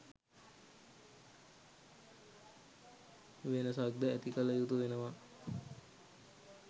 වෙනසක්ද ඇති කළ යුතු වෙනවා.